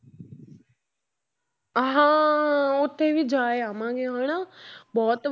ਹਾਂ ਉੱਥੇ ਵੀ ਜਾਏ ਆਵਾਂਗੇ ਹਨਾ ਬਹੁਤ